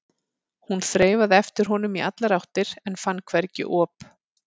Hún þreifaði eftir honum í allar áttir en fann hvergi op.